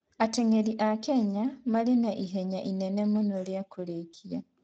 Ateng'eri a Kenya marĩ na ihenya inene mũno rĩa kũrĩkia.